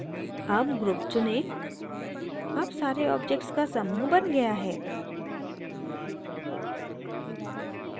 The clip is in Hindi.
all group चुनें all सारे objects का समूह now गया है